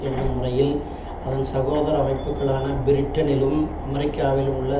என்னும் முறையில் அதன் சகோதர அமைப்புக்களான பிரிட்டனிலும் அமெரிக்காவிலும் உள்ள